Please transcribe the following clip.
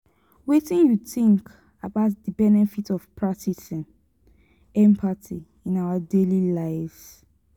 wetin you think about di benefits of practicing empathy in our daily lives?